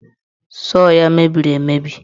Sọọ ya mebiri emebi.